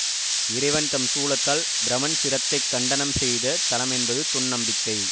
இறைவன் தம் சூலத்தால் பிரமன் சிரத்தைக் கண்டனம் செய்த தலமென்பது தொன்நம்பிக்கை